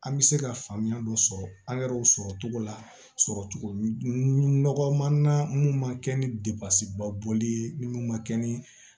An bɛ se ka faamuya dɔ sɔrɔ angɛrɛw sɔrɔ cogo la sɔrɔ cogo man minnu ma kɛ ni debabɔli ye minnu ma kɛ ni